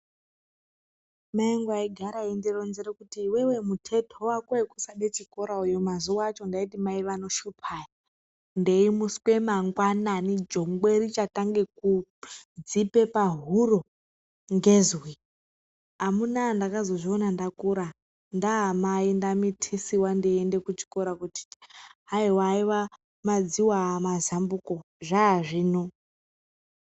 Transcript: Mai vangu vaigara vachindironzera kuti iwewe mutetwa wako wekusade chikora mazuva acho ndaiti mai vanoshupa ava. Ndeimutswe mangwananani jongwe richakange kudzipa pahuro ngezwi. Amuna ndakazozviona ndakura ndaamai ndamitiswa ndichiende kuchikora kuti hanzi haiwa madziva ava mazambuko zvava zvino.